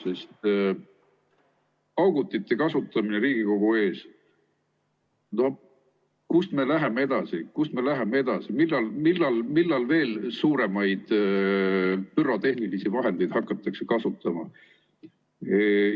Sest paugutite kasutamine Riigikogu ees – no kuhu me läheme edasi, millal veel suuremaid pürotehnilisi vahendeid hakatakse kasutama?